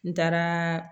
N taaraa